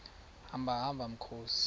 hamba hamba mkhozi